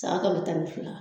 San kalo tan ni fila